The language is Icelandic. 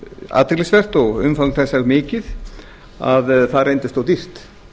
athyglisvert og umfang þess það mikið að það reyndist of dýrt